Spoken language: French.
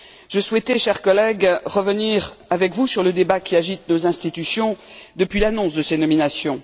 Je souhaitais, chers collègues, revenir avec vous sur le débat qui agite nos institutions depuis l'annonce de ces nominations.